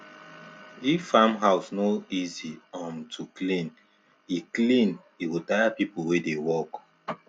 if farm house no easy um to clean e clean e go tire people wey dey work